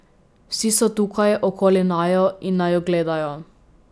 Vsi so tukaj, okoli naju, in naju gledajo.